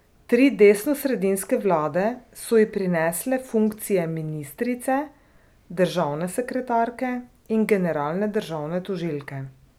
Tri desnosredinske vlade so ji prinesle funkcije ministrice, državne sekretarke in generalne državne tožilke.